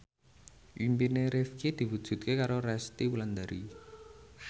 impine Rifqi diwujudke karo Resty Wulandari